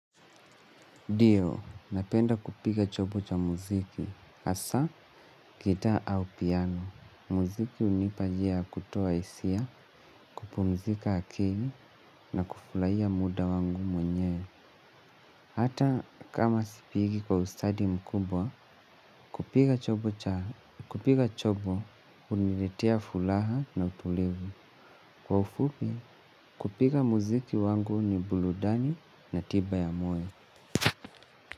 Ndio, napenda kupiga chombo cha muziki, hasa, gitaa au piano. Muziki hunipa njia ya kutoa hisia, kupumzika akili na kufurahia muda wangu mwenyewe. Hata kama sipigi kwa ustadi mkubwa, kupiga chombo huniletea furaha na utulivu. Kwa ufupi, kupiga muziki wangu ni burudani na tiba ya moyo.